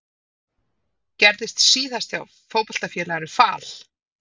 Gerðist síðast hjá Fótboltafélaginu Fal?